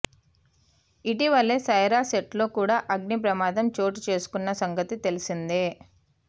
ఇటీవలే సైరా సెట్లో కూడా అగ్ని ప్రమాదం చోటుచేసుకున్న సంగతి తెలిసిందే